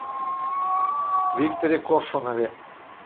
викторе коршунове